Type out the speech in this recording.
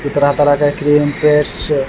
इ तरह-तरह का क्रीम पेस्ट --